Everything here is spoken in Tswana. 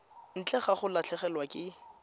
ntle ga go latlhegelwa ke